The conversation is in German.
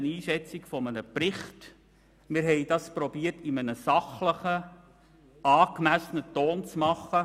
Wir haben versucht, das in einem sachlichen und angemessenen Ton zu tun.